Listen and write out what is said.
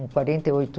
com quarenta e oito